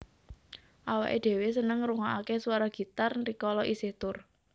Awake dhewe seneng ngrukokake suara gitar rikala isih tur